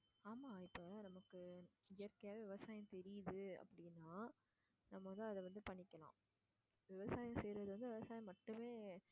ஆமாம் இப்போ நமக்கு இயற்கையாகவே விவசாயம் தெரியுது அப்படின்னா நம்ம வந்து அதை வந்து பண்ணிக்கலாம் விவசாயம் செய்யுறது வந்து விவசாயம் மட்டுமே